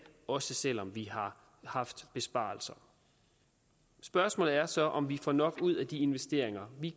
også selv om vi har haft besparelser spørgsmålet er så om vi får nok ud af de investeringer vi